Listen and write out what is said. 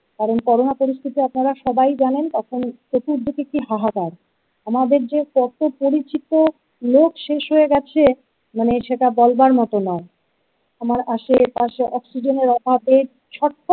কারণ করোনা পরিস্থিতি আপনারা সবাই জানেন, তখন চতুর্দিকে কি হাহাকার আমাদের যে কত পরিচিত লোক শেষ হয়ে গেছে মানে সেটা বলবার মতো নয়, আমার আশেপাশে অক্সিজেনের অভাবে ছটফট।